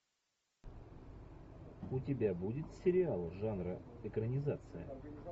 у тебя будет сериал жанра экранизация